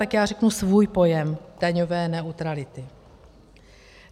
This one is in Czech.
Tak já řeknu svůj pojem daňové neutrality.